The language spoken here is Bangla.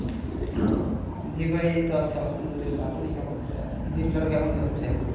জি ভাই এইতো আছি আলহামদুলিল্লাহ আপনি কেমন আহ দিনকাল কেমন যাচ্ছে?